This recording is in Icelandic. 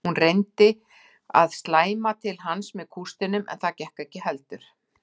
Hún reyndi að slæma til hans með kústinum en það gekk ekki heldur.